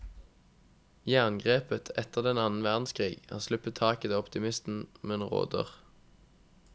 Jerngrepet etter den annen verdenskrig har sluppet taket og optimismen råder.